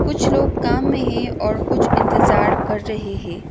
कुछ लोग काम मे है और कुछ इंतजार कर रहे है।